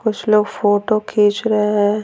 कुछ लोग फोटो खींच रहे हैं।